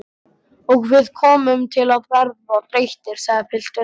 Og við komum til að verða þreyttir, sagði pilturinn.